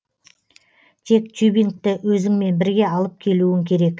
тек тюбингті өзіңмен бірге алып келуің керек